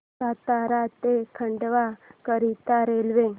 सातारा ते खंडवा करीता रेल्वे